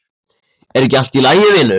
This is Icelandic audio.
Er ekki allt í lagi vinur?